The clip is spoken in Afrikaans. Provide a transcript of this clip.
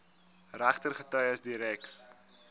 regter getuies direk